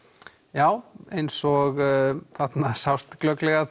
já eins og þarna sást glögglega